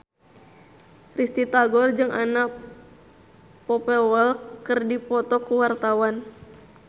Risty Tagor jeung Anna Popplewell keur dipoto ku wartawan